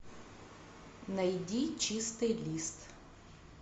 найди чистый лист